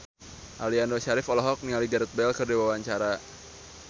Aliando Syarif olohok ningali Gareth Bale keur diwawancara